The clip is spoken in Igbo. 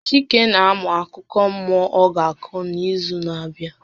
Chike na amụ akụkọ mmụọ ọ ga-akọ n'izu na-abịa.